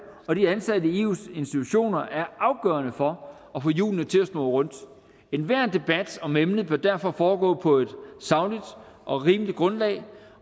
og de ansatte i eus institutioner er afgørende for at få hjulene til at snurre rundt enhver debat om emnet bør derfor foregå på et sagligt og rimeligt grundlag